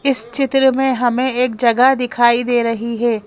इस चित्र में हमें एक जगह दिखाई दे रही है।